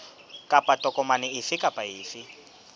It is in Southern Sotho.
kapa tokomane efe kapa efe